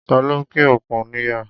Ta ló pín òkun níyà?